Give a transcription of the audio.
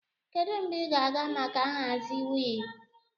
Kedu mgbe ị ga-aga maka nhazi wheel?